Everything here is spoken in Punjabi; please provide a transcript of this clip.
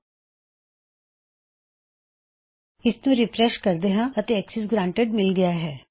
ਅਸੀਂ ਇਸਨੂੰ ਰਿਫਰੈਸ਼ ਕਰਦੇ ਹਾਂ ਅਤੇ ਅਕਸੈਸ ਗਰਾਨਟੀਡ ਮਿਲ ਗਇਆ ਹੈ